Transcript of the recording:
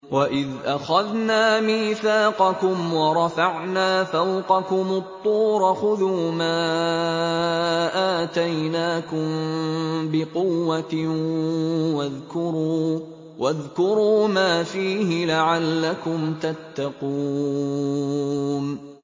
وَإِذْ أَخَذْنَا مِيثَاقَكُمْ وَرَفَعْنَا فَوْقَكُمُ الطُّورَ خُذُوا مَا آتَيْنَاكُم بِقُوَّةٍ وَاذْكُرُوا مَا فِيهِ لَعَلَّكُمْ تَتَّقُونَ